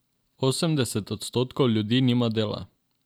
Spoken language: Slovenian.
Osemdeset odstotkov ljudi nima dela.